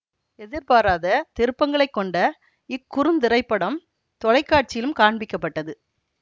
எதிர்பாராத திருப்பங்களைக் கொண்ட இக்குறுந்திரைப்படம் தொலைக்காட்சியிலும் காண்பிக்கப்பட்டது